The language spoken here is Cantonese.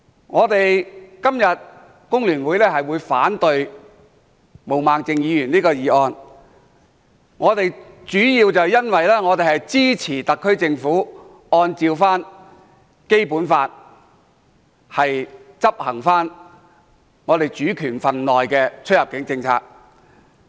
我們工聯會今天反對毛孟靜議員的議案，主要是因為我們支持特區政府按照《基本法》執行我們主權份內的出入境政策。